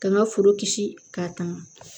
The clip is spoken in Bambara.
Ka n ka foro kisi k'a tanga